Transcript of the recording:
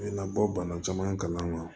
U bɛ na bɔ bana caman kalan